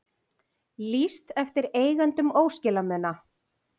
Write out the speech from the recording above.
Lýst eftir eigendum óskilamuna